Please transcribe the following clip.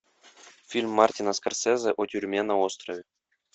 фильм мартина скорсезе о тюрьме на острове